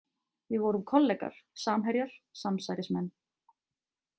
Við vorum kollegar, samherjar, samsærismenn.